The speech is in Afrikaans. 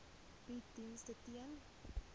bied dienste ten